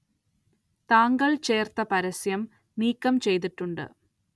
താങ്കള്‍ ചേര്‍ത്ത പരസ്യം നീക്കം ചെയ്തിട്ടുണ്ട്